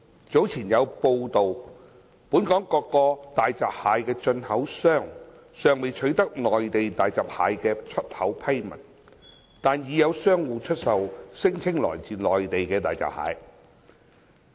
早前有報道，本港各個大閘蟹進口商尚未取得內地大閘蟹的出口批文，但已有商戶出售聲稱來自內地的大閘蟹。